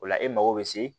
O la e mago bɛ se